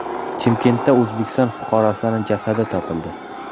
Chimkentda O‘zbekiston fuqarosining jasadi topildi.